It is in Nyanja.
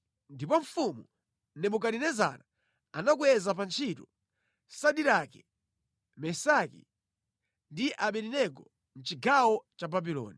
Ndipo mfumu Nebukadinezara anakweza pa ntchito Sadirake, Mesaki ndi Abedenego mʼchigawo cha Babuloni.